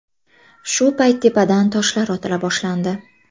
Shu payt tepadan toshlar otila boshlandi.